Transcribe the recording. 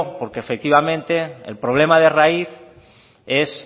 porque efectivamente el problema de raíz son